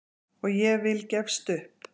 Og ég vil gefst upp!